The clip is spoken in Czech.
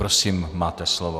Prosím, máte slovo.